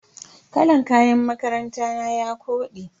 Kalan kayan makaranta na ya kode.